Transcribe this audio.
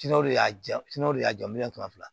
de y'a ja de y'a jɔ miliyɔn kɛmɛ fila